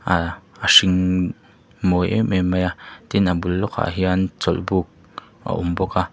a hring mawi em em mai a tin a bul lawk ah hian chawlhbuk a awm bawk a.